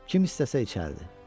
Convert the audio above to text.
Kim istəsə içərdi.